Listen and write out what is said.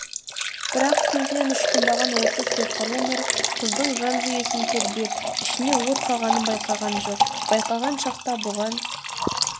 бірақ көзінен ұшқындаған осы сиқырлы нұр қыздың жан жүйесін тербеп ішіне от салғанын байқаған жоқ байқаған шақта бұған